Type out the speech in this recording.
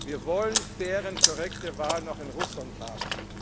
Wir wollen faire und korrekte Wahlen auch in Russland haben!